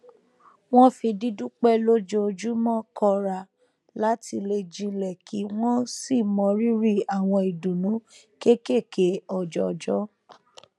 wọn fi dídúpẹ lójoojúmọ kọra láti le jinlẹ kí wọn sì mọ rírì àwọn ìdùnnú kéékèèké ọjọọjọ